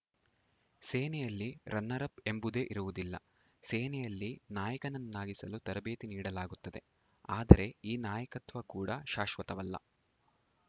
ಸೇನೆಯಲ್ಲಿ ರನ್ನರ್‌ಅಪ್‌ ಎಂಬುದೇ ಇರುವುದಿಲ್ಲ ಸೇನೆಯಲ್ಲಿ ನಾಯಕನನ್ನಾಗಿಸಲು ತರಬೇತಿ ನೀಡಲಾಗುತ್ತದೆ ಆದರೆ ಈ ನಾಯಕತ್ವ ಕೂಡ ಶಾಶ್ವತವಲ್ಲ